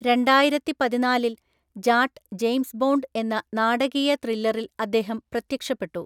രണ്ടായിരത്തിപതിനാലില്‍ Jatt James Bond എന്ന നാടകീയ ത്രില്ലറിൽ അദ്ദേഹം പ്രത്യക്ഷപ്പെട്ടു.